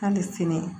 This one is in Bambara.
K'a ni sini